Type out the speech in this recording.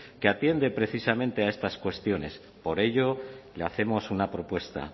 que atiende precisamente a estas cuestiones por ello le hacemos una propuesta